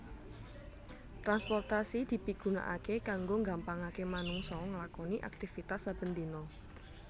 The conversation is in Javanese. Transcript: Transportasi dipigunaaké kanggo nggampangaké manungsa nglakoni aktifitas saben dina